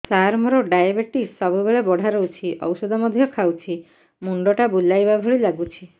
ସାର ମୋର ଡାଏବେଟିସ ସବୁବେଳ ବଢ଼ା ରହୁଛି ଔଷଧ ମଧ୍ୟ ଖାଉଛି ମୁଣ୍ଡ ଟା ବୁଲାଇବା ଭଳି ଲାଗୁଛି